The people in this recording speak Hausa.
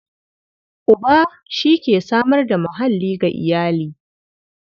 Uba shi ke samar da muhalli ga iyali.